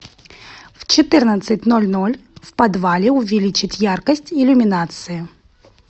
в четырнадцать ноль ноль в подвале увеличить яркость иллюминации